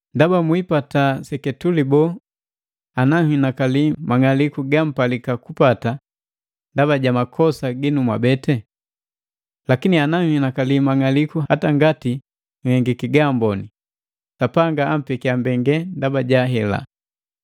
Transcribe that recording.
Ndaba, mwiipata seketuli boo ana nhinakali mang'aliku gampalika kupata ndaba ja makosa ginu mwabete? Lakini ana nhinakali mang'aliku hata ngaati nhengiki gaamboni, Sapanga ampekia mbengelelu ndaba ja hela.